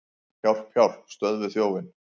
Hjálp, hjálp, stöðvið þjófinn!